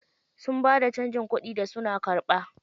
Sun bada canjin kuɗin da suna karɓa.